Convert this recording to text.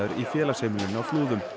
í félagsheimilinu á Flúðum